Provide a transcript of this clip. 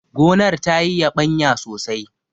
gonar ta yi yabanya sosai!